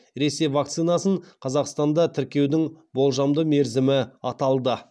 ресей вакцинасын қазақстанда тіркеудің болжамды мерзімі аталды